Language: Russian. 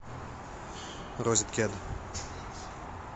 розеткед